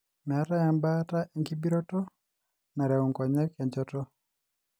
meetae ebaata enkibiroto nareu nkonyek enchoto.